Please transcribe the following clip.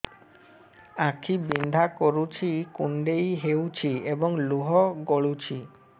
ଆଖି ବିନ୍ଧା କରୁଛି କୁଣ୍ଡେଇ ହେଉଛି ଏବଂ ଲୁହ ଗଳୁଛି